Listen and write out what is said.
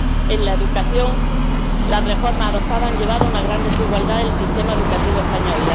En la educación, las reformas adoptadas han llevado a una gran desigualdad del sistema educativo español